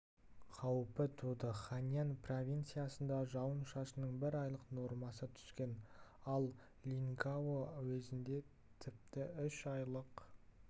қаупі туды хайнань провинциясында жауын-шашынның бір айлық нормасы түскен ал линьгао уезінде тіпті үш айлық